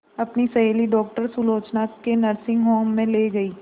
अपनी सहेली डॉक्टर सुलोचना के नर्सिंग होम में ली गई